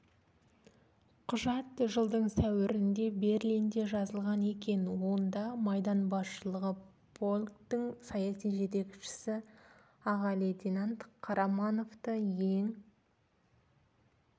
құжат жылдың сәуірінде берлинде жазылған екен онда майдан басшылығы полктің саяси жетекшісі аға лейтенант қарамановты ең